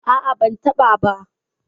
A'a, ban taɓa ba.